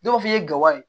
Dɔw b'a fɔ i ye gawo ye